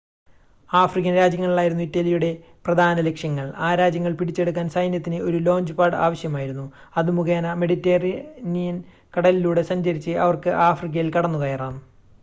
African രാജ്യങ്ങളായിരുന്നു ഇറ്റലിയുടെ പ്രധാന ലക്ഷ്യങ്ങൾ.ആ രാജ്യങ്ങൾ പിടിച്ചെടുക്കാൻ സൈന്യത്തിന് ഒരു ലോഞ്ച് പാഡ് ആവശ്യമായിരുന്നു അത് മുഖേന മെഡിറ്ററേനിയൻ കടലിലൂടെ സഞ്ചരിച്ച് അവർക്ക് ആഫ്രിക്കയിൽ കടന്നുകയറാം